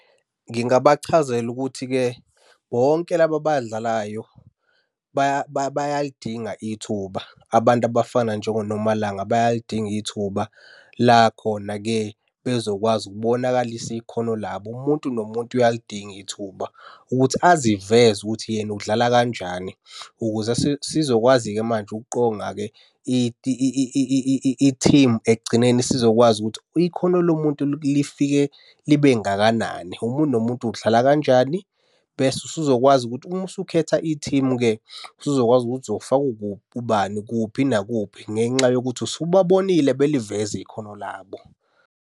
Ngingabachazela ukuthi-ke bonke laba abadlalayo bayalidinga ithuba. Abantu abafana njengoNomalanga bayalidinga ithuba la khona-ke bezokwazi ukubonakalisa ikhono labo. Umuntu nomuntu uyalidinga ithuba ukuthi aziveze ukuthi yena ukudlala kanjani, ukuze sizokwazi-ke manje ukuqonga-ke i-team. Ekugcineni sizokwazi ukuthi ikhono lomuntu lifike libe ngakanani? Umuntu nomuntu udlala kanjani? Bese usuzokwazi ukuthi uma usukhetha i-team-ke, usuzokwazi ukuthi uzofaka , ubani kuphi nakuphi ngenxa yokuthi usubabonile beliveza ikhono labo.